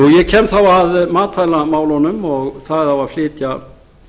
ég kem þá að matvælamálunum og það á að